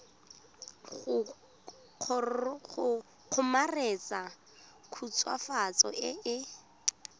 go kgomaretsa khutswafatso e e